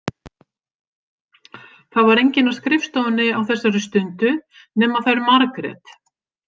Það var enginn á skrifstofunni á þessari stundu nema þær Margrét.